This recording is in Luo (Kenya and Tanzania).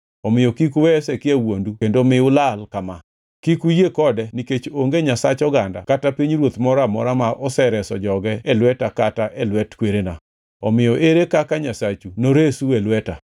Omiyo kik uwe Hezekia wuondu kendo mi ulal kama. Kik uyie kode nikech onge nyasach oganda kata pinyruoth moro amora ma osereso joge e lweta kata e lwet kwerena. Omiyo ere kaka nyasachu noresu e lweta!”